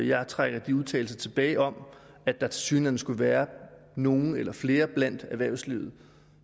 jeg trækker de udtalelser tilbage om at der tilsyneladende skulle være nogle eller flere i erhvervslivet